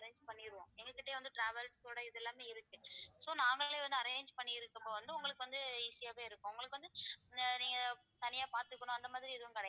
arrange பண்ணிடுவோம் எங்க கிட்டயே வந்து travels கூட இதெல்லாமே இருக்கு so நாங்களே வந்து arrange பண்ணி இருக்கும்போது வந்து உங்களுக்கு வந்து easy யாவே இருக்கும் உங்களுக்கு வந்து ஆஹ் நீங்க தனியா பார்த்துக்கணும் அந்த மாதிரி எதுவும் கிடையாது